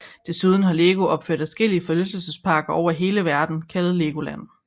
Desuden har Lego opført adskillige forlystelsesparker over hele verden kaldet Legoland